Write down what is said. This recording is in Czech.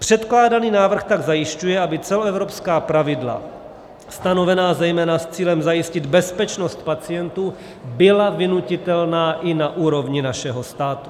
Předkládaný návrh tak zajišťuje, aby celoevropská pravidla stanovená zejména s cílem zajistit bezpečnost pacientů byla vynutitelná i na úrovni našeho státu.